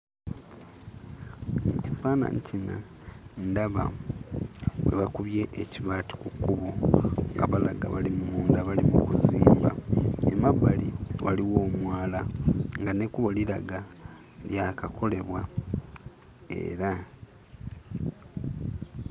Mu kifaananyi kino ndaba we bakubye ekibaati ku kkubo nga balaga bali munda bali mu kuzimba. Emabbali waliwo omwala nga n'ekkubo liraga lyakakolebwa era...